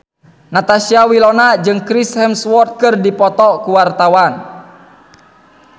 Natasha Wilona jeung Chris Hemsworth keur dipoto ku wartawan